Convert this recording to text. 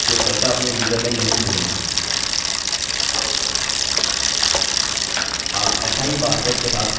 आप ऐसा ही पासवर्ड के साथ कर सकते हैं